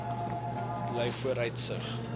blyvooruitsig